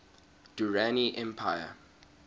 durrani empire